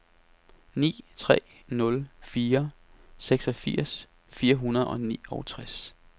ni tre nul fire seksogfirs fire hundrede og niogtres